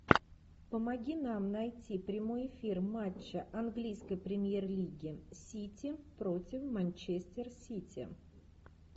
помоги нам найти прямой эфир матча английской премьер лиги сити против манчестер сити